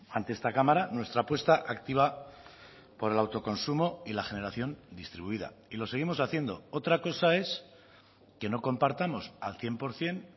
ante esta cámara nuestra apuesta activa por el autoconsumo y la generación distribuida y lo seguimos haciendo otra cosa es que no compartamos al cien por ciento